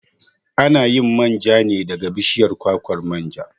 A na yin manja ne daga bishiyar kwakwar manja.